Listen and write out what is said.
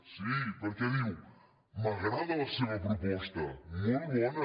) sí perquè diu m’agrada la seva proposta molt bona